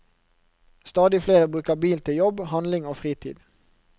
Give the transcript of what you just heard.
Stadig flere bruker bil til jobb, handling og fritid.